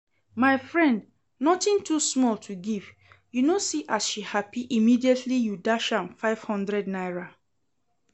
My friend, nothing too small to give, you know see as she happy immediately you dash am five hundred naira